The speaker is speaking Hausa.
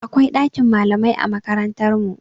Akwai ɗakin malamai a makarantar mu.